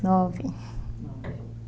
Nove. Nove.